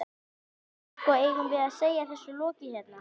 Edda: En, sko, eigum við að segja þessu lokið hérna?